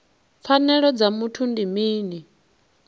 pfanelo dza muthu ndi mini